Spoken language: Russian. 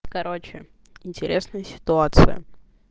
короче интересная ситуация